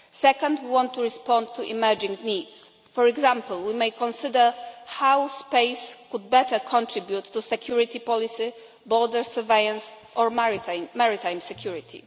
Second, we want to respond to emerging needs for example, we may consider how space could better contribute to security policy, border surveillance and maritime security.